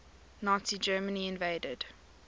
nazi germany invaded